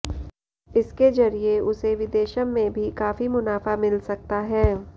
इसके जरिए उसे विदेशं में भी काफी मुनाफा मिल सकता है